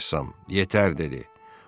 Rəssam: “Yetər” dedi.